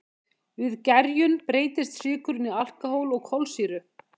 við gerjun breytist sykurinn í alkóhól og kolsýru